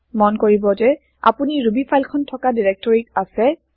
মন কৰিব যে আপুনি ৰুবি ফাইল খন থকা ডাইৰেক্টৰীত আছে